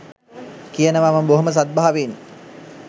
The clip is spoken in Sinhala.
කියනවා මම බොහොම සද්භාවයෙන්